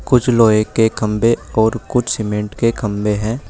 कुछ लोहे के खंभे और कुछ सीमेंट के खंभे हैं।